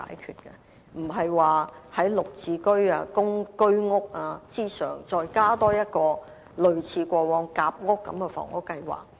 故此，並非在"綠置居"及居屋以上，再增加一個類似過往夾屋的房屋計劃。